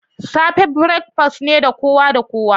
safe breakfast ne ga kowa da kowa.